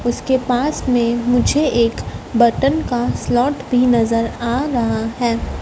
इसके पास में मुझे एक बर्तन का स्लॉट भी नजर आ रहा है।